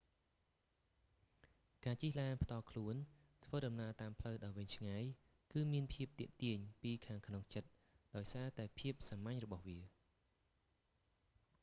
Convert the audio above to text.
ការជិះឡានផ្ទាល់ខ្លួន ធ្វើដំណើរតាមផ្លូវដ៏វែងឆ្ងាយគឺមានភាពទាក់ទាញពីខាងក្នុងចិត្តដោយសារតែភាពសាមញ្ញរបស់វា